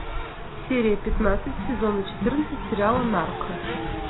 серия пятнадцать сезона четырнадцать сериала нарко